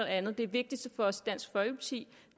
andet det vigtigste for os i dansk folkeparti